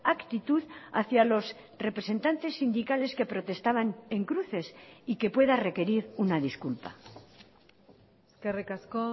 actitud hacia los representantes sindicales que protestaban en cruces y que pueda requerir una disculpa eskerrik asko